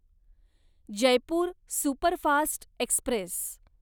Jaipur superfast Express